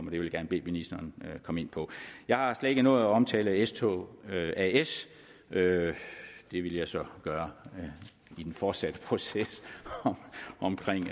vil jeg gerne bede ministeren at komme ind på jeg har slet ikke nået at omtale dsb s tog as det vil jeg så gøre i den fortsatte proces omkring